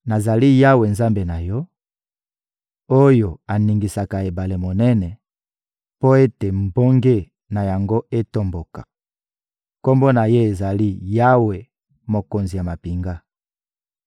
Nazali Yawe, Nzambe na Yo, oyo aningisaka ebale monene mpo ete mbonge na yango etomboka. Kombo na Ye ezali ‹Yawe, Mokonzi ya mampinga.›